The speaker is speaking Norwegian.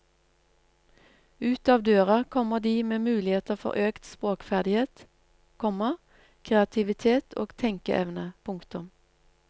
Ut av døra kommer de med muligheter for økt språkferdighet, komma kreativitet og tenkeevne. punktum